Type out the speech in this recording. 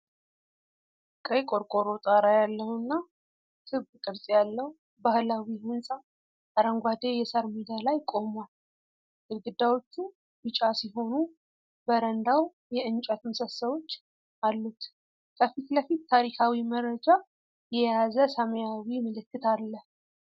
ቀይ ቆርቆሮ ጣራ ያለውና ክብ ቅርጽ ያለው ባህላዊ ሕንፃ አረንጓዴ የሳር ሜዳ ላይ ቆሟል። ግድግዳዎቹ ቢጫ ሲሆኑ በረንዳው የእንጨት ምሰሶዎች አሉት። ከፊት ለፊት ታሪካዊ መረጃ የያዘ ሰማያዊ ምልክት አለ።